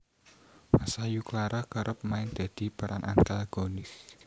Masayu Clara kerep main dadi peran antagonis